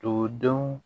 Togodenw